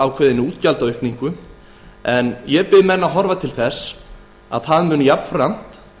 ákveðinni útgjaldaaukningu ég bið menn að horfa til þess að það mun jafnframt